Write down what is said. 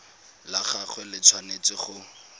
la gagwe le tshwanetse go